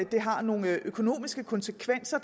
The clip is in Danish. det har nogle økonomiske konsekvenser